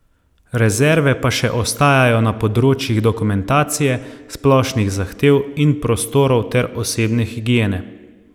Rezerve pa še ostajajo na področjih dokumentacije, splošnih zahtev in prostorov ter osebne higiene.